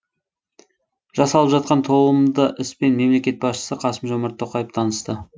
жасалып жатқан толымды іспен мемлекет басшысы қасым жомарт тоқаев танысты